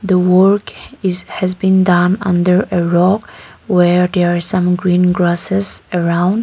the work is has been done under a rock where there is some green grasses around.